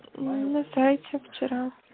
на сайте вчера